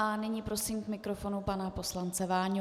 A nyní prosím k mikrofonu pana poslance Váňu.